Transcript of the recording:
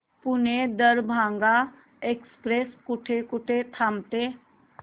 Pune Darbhanga express कुठे कुठे थांबते